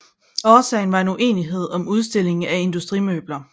Årsagen var en uenighed om udstilling af industrimøbler